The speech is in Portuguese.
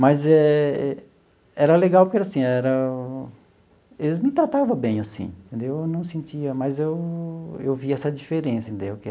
Mas era legal, porque assim, era eles me tratava bem assim, entendeu eu não sentia, mas eu eu vi essa diferença, entendeu?